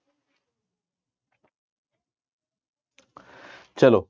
ਚਲੋ।